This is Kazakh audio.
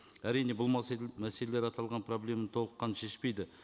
әрине бұл мәселелер аталған проблеманы толыққанды шешпейді